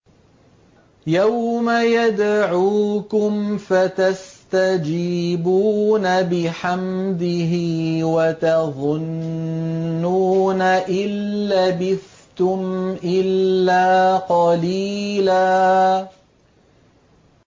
يَوْمَ يَدْعُوكُمْ فَتَسْتَجِيبُونَ بِحَمْدِهِ وَتَظُنُّونَ إِن لَّبِثْتُمْ إِلَّا قَلِيلًا